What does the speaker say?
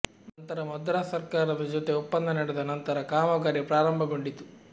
ನಂತರ ಮದ್ರಾಸ್ ಸರ್ಕಾರದ ಜೊತೆ ಒಪ್ಪಂದ ನಡೆದ ನಂತರ ಕಾಮಗಾರಿ ಪ್ರಾರಂಭಗೊಂಡಿತು